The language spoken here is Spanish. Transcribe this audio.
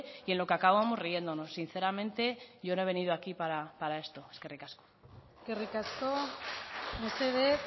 y en lo que acabamos riéndonos sinceramente yo no he venido aquí para esto eskerrik asko eskerrik asko mesedez